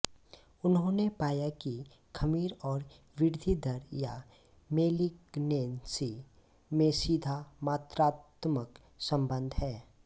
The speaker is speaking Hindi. उन्होंने पाया कि खमीर और वृद्धिदर या मेलिगनेन्सी में सीधा मात्रात्मक संबन्ध है